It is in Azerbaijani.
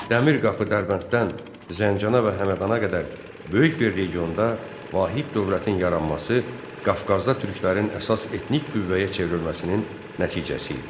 Dəmir qapı Dərbənddən Zəncana və Həmədanda qədər böyük bir regionda vahid dövlətin yaranması Qafqazda türklərin əsas etnik qüvvəyə çevrilməsinin nəticəsi idi.